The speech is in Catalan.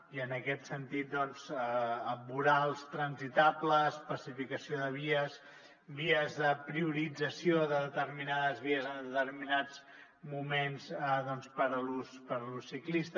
i en aquest sentit doncs amb vorals transitables pacificació de vies vies de priorització de determinades vies en determinats moments per a l’ús ciclista